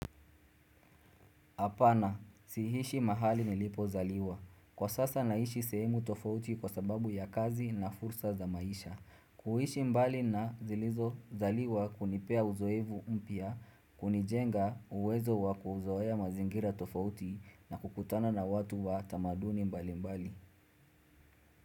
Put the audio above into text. Apana, sihishi mahali nilipo zaliwa. Kwa sasa naishi semu tofauti kwa sababu ya kazi na fursa za maisha. Kuhishi mbali na zilizo zaliwa kunipea uzoevu umpia, kunijenga uwezo wa kuzoea mazingira tofauti na kukutana na watu wa tamaduni mbali mbali.